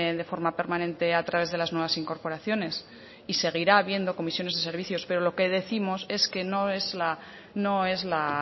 de forma permanente a través de las nuevas incorporaciones y seguirá habiendo comisiones y servicios pero lo que décimos es que no es la